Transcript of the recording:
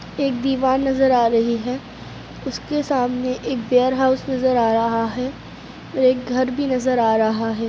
एक दीवार नज़र आ रही है| उसके सामने एक वेयरहाउस नज़र आ रहा है और एक घर भी नज़र आ रहा है।